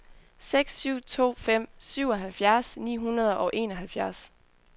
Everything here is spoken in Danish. seks syv to fem syvoghalvfjerds ni hundrede og enoghalvfjerds